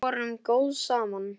Við vorum góð saman.